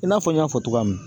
I n'a fɔ n y'a fɔ togoya min na